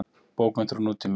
Bókmenntir og nútími.